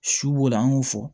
Su b'o la an y'o fɔ